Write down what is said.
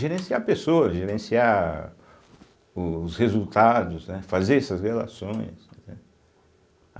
Gerenciar a pessoa, gerenciar os resultados, né, fazer essas relações, né.